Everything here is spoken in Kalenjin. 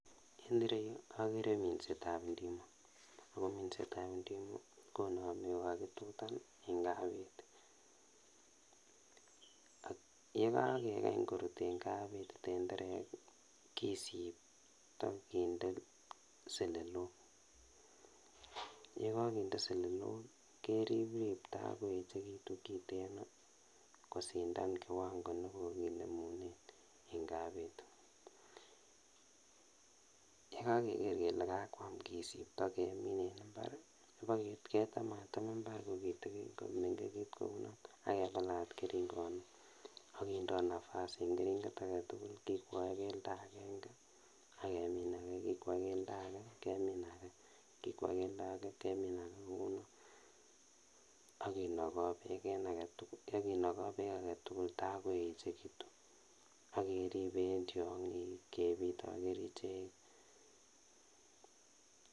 En ireyu akere minsetab ndimo ako minsetab ndimo konomen kokakitutan en kapeti yekakekany korut en kapeti tenderek kisipto kitende seleloko yekokinde selelok keriprip takoechekitun kiteno kosir kiwango kiten nekonemunen kapeti yekokeker kele kakwam kisipto kemin en mbar ketematem mbar komengekitun kounon akepalat keringonik akindo nafasi en keringet aketugul kikwae kelndo agengek ak kemi ake kikwa kelndo agengek kemi ake, kikwa kelndo agengek kemi ake kounon akinoko beek aketugul takoechekitu akeripe en tiong'ik akepite akerichek.